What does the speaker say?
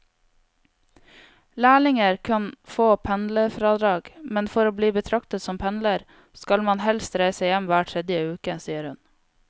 Lærlinger kan få pendlerfradrag, men for å bli betraktet som pendler skal man helst reise hjem hver tredje uke, sier hun.